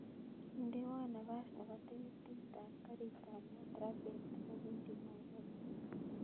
Indewon napas nebo tiketit ab garit ab maat raa beet newendi nairobi